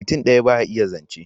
Mutum daya ba ya iya zance